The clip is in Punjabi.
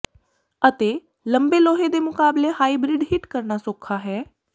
ਅਤੇ ਲੰਬੇ ਲੋਹੇ ਦੇ ਮੁਕਾਬਲੇ ਹਾਈਬ੍ਰਿਡ ਹਿੱਟ ਕਰਨਾ ਸੌਖਾ ਹੈ